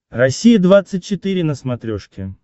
россия двадцать четыре на смотрешке